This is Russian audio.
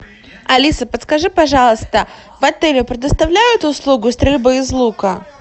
алиса подскажи пожалуйста в отеле предоставляют услугу стрельбы из лука